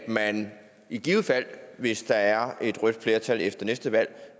man i givet fald hvis der er et rødt flertal efter næste valg